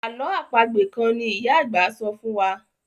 àlọ́ àpagbè kán ní ìyá àgbà sọfún wá.